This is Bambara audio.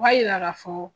O b'a yira k'a fɔ